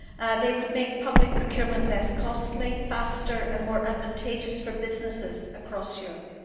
They would make public procurement less costly, faster and more advantageous for businesses across Europe.